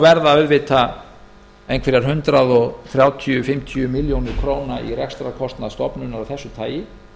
verða kannski hundrað þrjátíu til hundrað fimmtíu milljónir króna í rekstrarkostnað stofnunar af þessu tagi ekki háar